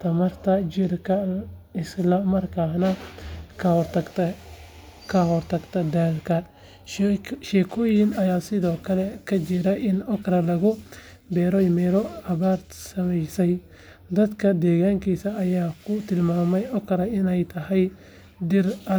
tamarta jirka isla markaana ka hortagta daalka. Sheekooyin ayaa sidoo kale ka jira in okra lagu beeray meelo abaartu saameysay, dadka deegaankaas ayaa ku tilmaamay okra inay tahay dhir adag.